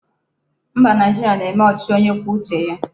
Mba, Naijiria na-eme ochichi onye kwuo uche ya